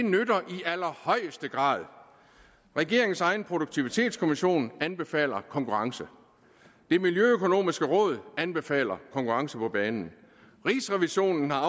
allerhøjeste grad regeringens egen produktivitetskommission anbefaler konkurrence det miljøøkonomiske råd anbefaler konkurrence på banen rigsrevisionen har